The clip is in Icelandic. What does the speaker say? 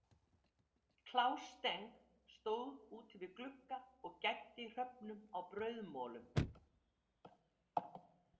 Klaus Steng stóð úti við glugga og gæddi hröfnum á brauðmolum.